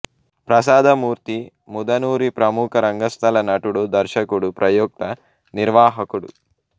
ప్రసాదమూర్తి ముదనూరి ప్రముఖ రంగస్థల నటుడు దర్శకుడు ప్రయోక్త నిర్వాహకుడు